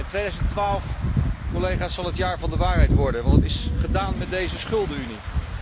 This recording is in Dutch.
2012, collega's, zal het jaar van de waarheid worden, want het is gedaan met deze schuldenunie.